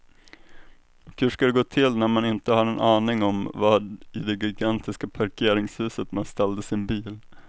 Och hur ska det gå till när man inte har en aning om var i det gigantiska parkeringshuset man ställde sin bil.